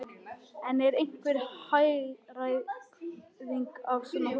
En er einhver hagræðing af svona hóteli?